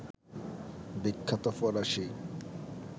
বিখ্যাত ফরাসি